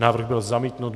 Návrh byl zamítnut.